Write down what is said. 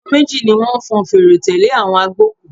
Àwọn méjì ni wọ́n fọn fèrè tẹ̀lé àwọn agbókùú.